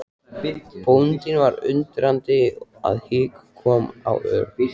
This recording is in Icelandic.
Bóndinn var svo undrandi að hik kom á Örn.